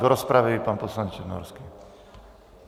Do rozpravy pan poslanec Černohorský.